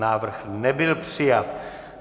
Návrh nebyl přijat.